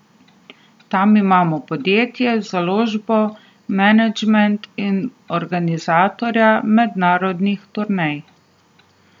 Tam imamo podjetje, založbo, menedžment in organizatorja mednarodnih turnej.